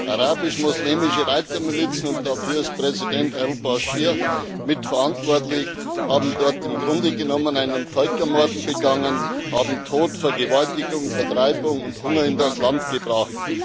Arabisch muslimische Reitermilizen und dafür ist Präsident al Baschir mitverantwortlich haben dort im Grunde genommen einen Völkermord begangen, haben Tod, Vergewaltigung, Vertreibung und Hunger in das Land gebracht.